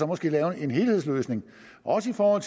måske lave en helhedsløsning også for